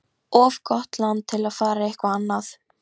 Hún tók bréfpoka upp úr gólfinu og gaukaði að honum.